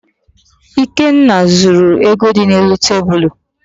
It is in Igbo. Ikenna zuru ego dị n'elu tebulu.